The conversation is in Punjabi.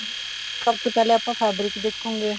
ਸਭ ਤੋਂ ਪਹਿਆਂ ਆਪਾਂ fabric ਦੇਖਾਂਗੇ